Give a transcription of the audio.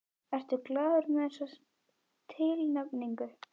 Ertu glaður með þessa tilnefningu?